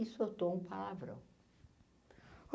E soltou um palavrão.